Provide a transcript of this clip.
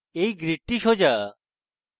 এই grid সোজা